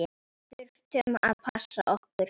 Þurftum að passa okkur.